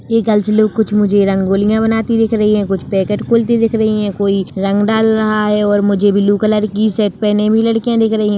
ये कुछ मुझे रंगोलिया बनाती दिख रही हैं कुछ पैकेट खोलती दिख रही है कोई रंग डाल रहा है और मुझे ब्लू कलर कि शर्ट पहने भी लड़किया दिख रही है।